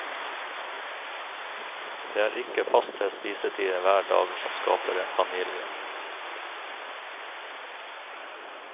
Det er ikke faste spisetider hver dag som skaper en familie.